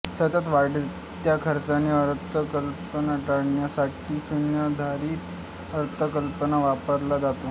सतत वाढत्या खर्चाचे अर्थसंकल्प टाळण्यासाठी शून्याधारित अर्थसंकल्प वापरला जातो